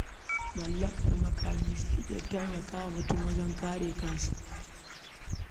Mallakar makami zai iya taimaka wa mutum wajen kare kansa.